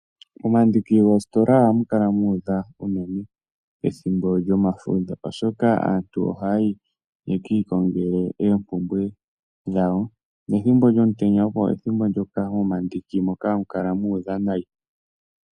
Momandiki goositola ohamu kala mu udha unene ethimbo lyomafudho, oshoka aantu ohaya yi ye ki ikongele oompumbwe dhawo nethimbo lyomutenya opo pethimbo ndyoka momandiki moka hamu kala mu udha nayi.